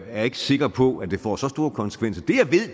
er ikke sikker på at det får så store konsekvenser